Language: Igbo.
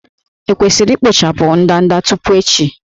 E kwesịrị ikpochapụ ndanda tupu echi?